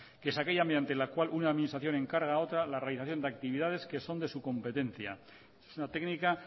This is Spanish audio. que es aquella mediante la cual una administración encarga a otra la realización de actividades que son de su competencia es una técnica